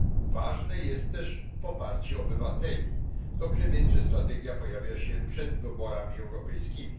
Ważne jest też poparcie obywateli, dobrze więc, że strategia pojawia się przed wyborami europejskimi.